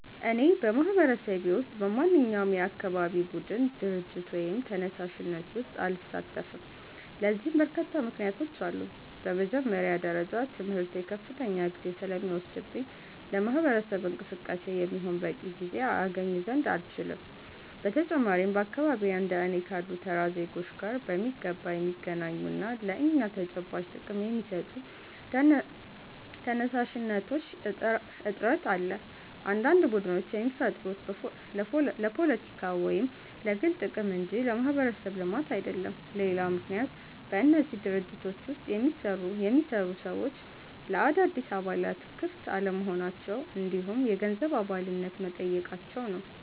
እኔ በማህበረሰቤ ውስጥ በማንኛውም የአካባቢ ቡድን፣ ድርጅት ወይም ተነሳሽነት ውስጥ አልሳተፍም። ለዚህ በርካታ ምክንያቶች አሉኝ። በመጀመሪያ ደረጃ ትምህርቴ ከፍተኛ ጊዜ ስለሚወስድብኝ ለማህበረሰብ እንቅስቃሴ የሚሆን በቂ ጊዜ አገኝ ዘንድ አልችልም። በተጨማሪም በአካባቢዬ እንደ እኔ ካሉ ተራ ዜጎች ጋር በሚገባ የሚገናኙና ለእኛ ተጨባጭ ጥቅም የሚሰጡ ተነሳሽነቶች እጥረት አለ፤ አንዳንድ ቡድኖች የሚፈጠሩት ለፖለቲካ ወይም ለግል ጥቅም እንጂ ለማህበረሰብ ልማት አይደለም። ሌላው ምክንያት በእነዚህ ድርጅቶች ውስጥ የሚሰሩ ሰዎች ለአዳዲስ አባላት ክፍት አለመሆናቸው እንዲሁም የገንዘብ አባልነት መጠየቃቸው ነው።